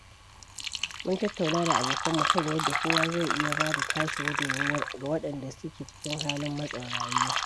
Mun tattauna da abokan mu kan yadda kowa zai iya ba da tashi gudummawar ga waɗanda su ke cikin halin matsin rayuwa.